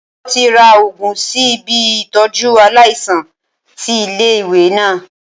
Wọ́n ti ra Ògùn sí ibi Ìtọ́jú aláìsàn ti ilé ìwé náà.